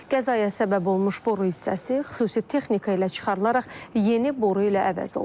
Qəzaya səbəb olmuş boru hissəsi xüsusi texnika ilə çıxarılaraq yeni boru ilə əvəz olunub.